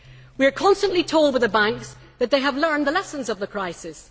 We are constantly told by the banks that they have learned the lessons of the crisis.